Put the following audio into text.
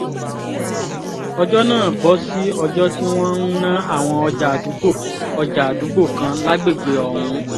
ọjọ́ náà bọ́ sí ọjọ́ tí wọ́n ń ná àwọn ọjà àdúgbò ọjà àdúgbò kan lágbègbè ọ̀hún